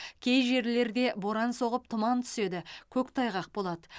кей жерлерде боран соғып тұман түседі көктайғақ болады